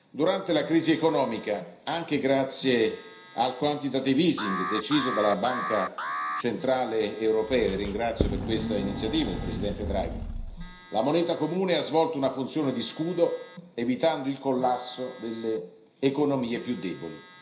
Durante la crisi economica, anche grazie al quantitative easing deciso dalla Banca centrale europea, e ringrazio per questa iniziativa il Presidente Draghi, la moneta comune ha svolto una funzione di scudo, evitando il collasso delle economie più deboli.